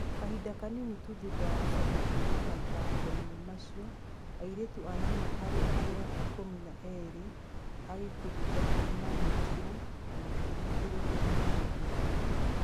Kahinda kanini tu thutha wa gũcoka kuuma mathako-inĩ macio, airĩtu anana harĩ arĩa ikũmi na ĩrĩ a gĩkundi gĩake nĩ maanyitirũo na makĩringĩrĩrio mahikanie.